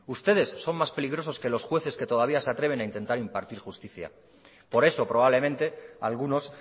ustedes son más peligrosos que los jueces que todavía se atreven a intentar impartir justicia por eso probablemente algunos